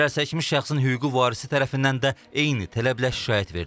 Zərərçəkmiş şəxsin hüquqi varisi tərəfindən də eyni tələblə şikayət verilib.